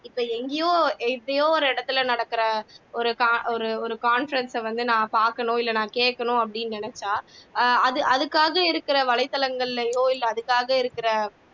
இப்ப எங்கயோ எப்பயோ ஒரு இடத்துல நடக்குற ஒரு ஒரு conference ஐ வந்து நான் பாக்கணும் இல்ல கேக்கணும் அப்படின்னு நினைச்சா அது அதுக்காக இருக்கிற வலைத்தளங்கள்லயோ இல்ல அதுக்காக இருக்கிற